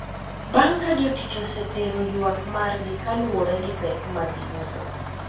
Bang` ka jotich osetero ywak margi kaluwore gi pek magiyudo.